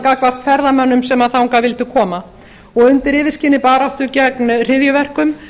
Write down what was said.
gagnvart ferðamönnum sem þangað vildu koma og undir yfirskini baráttu gegn hryðjuverkum